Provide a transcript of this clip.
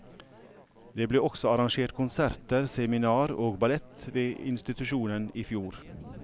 Det ble også arrangert konserter, seminar og ballett ved institusjonen i fjor.